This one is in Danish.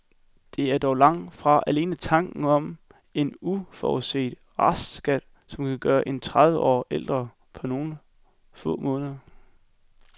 Det er dog langt fra alene tanken om en uforudset restskat, som kan gøre en tredive år ældre på nogle få måneder.